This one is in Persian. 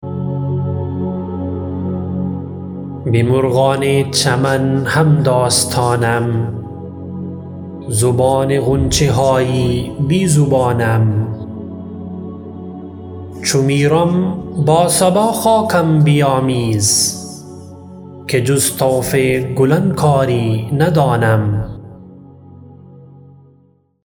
به مرغان چمن همداستانم زبان غنچه های بی زبانم چو میرم با صبا خاکم بیامیز که جز طوف گلان کاری ندانم